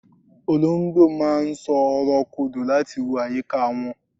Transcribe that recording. olongbo ma n so ọrọ kodò lati wo ayika won